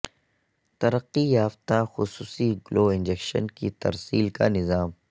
ترقی یافتہ خصوصی گلو انجکشن کی ترسیل کا نظام